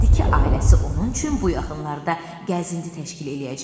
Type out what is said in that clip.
Dedi ki, ailəsi onun üçün bu yaxınlarda gəzinti təşkil eləyəcək.